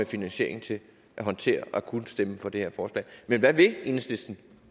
finansiering til at håndtere at kunne stemme for det her forslag men hvad vil enhedslisten